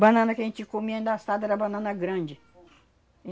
Banana que a gente comia, endaçada, era banana grande.